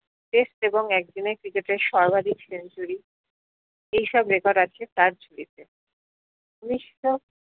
দেপ এবং একদিনের ক্রিকেটের সর্বাধীক century এই সব record আছে তার ঝুলিতে উনিশশো